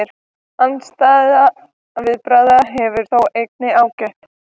Andstæðra viðbragða hefur þó einnig gætt.